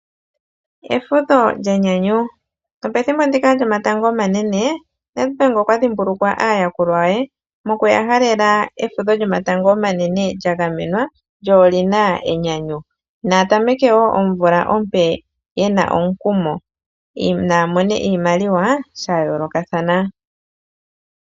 Efudho lyenyanyu, no pethimbo ndika lyomatango omanene NEDBANK okwa dhimbulukwa aayakulwa ye mokuyahalela efudho lyomatango omanene lya ngamenwa lyo olina enyanyu. Nayatameke omvula yawo ompe yena omukumo, yo naya mone iimaliwa shayoolokathana.